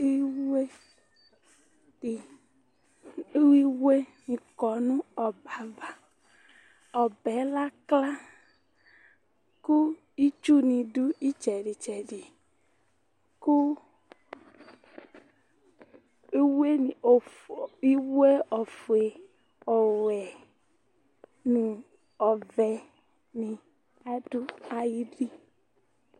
Iwoe dɩ, iwoenɩ kɔ nʋ ɔbɛ ava Ɔbɛ yɛ lakla kʋ itsunɩ dʋ ɩtsɛdɩ-tsɛdɩ Kʋ iwoenɩ ofue, iwoe ofue, ɔwɛ nʋ ɔvɛnɩ adʋ ayili